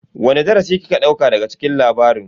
Wani darasi kika dauka daga cikin labarin?